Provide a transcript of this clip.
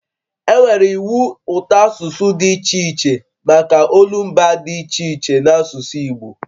E nwere iwu ụtọasụsụ dị iche iche maka olumba dị iche iche n'asụsụ Igbo